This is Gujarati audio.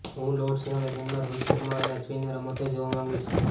હું લોર્ડ્સના મેદાનમાં રોહિત શર્મા અને અશ્વિનને રમતો જોવા માંગુ છું